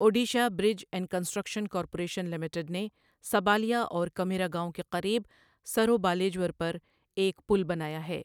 Odisha bridge and construction corporation limited نے سبالیا اور کمیرا گاؤں کے قریب سروبالیجور پر ایک پل بنایا ہے۔